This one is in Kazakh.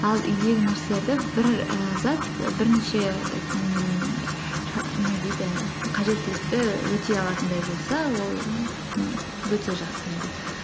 ал үйдегі нәрселерді бір ііі зат бірнеше і ммм не дейді қажеттілікті өтей алатындай болса ол м өте жақсы енді